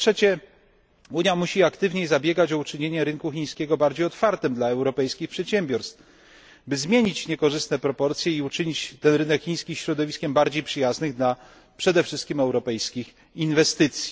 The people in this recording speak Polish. Po trzecie, Unia musi aktywniej zabiegać o uczynienie rynku chińskiego bardziej otwartym dla europejskich przedsiębiorstw, by zmienić niekorzystne proporcje i uczynić rynek chiński środowiskiem bardziej przyjaznym, przede wszystkim wobec europejskich inwestycji.